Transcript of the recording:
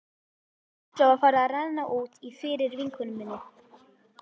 Líklega var farið að renna út í fyrir vinkonu minni.